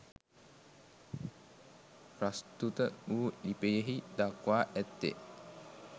ප්‍රස්තුත වු ලිපියෙහි දක්වා ඇත්තේ